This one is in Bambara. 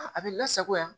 A bɛ lasagoya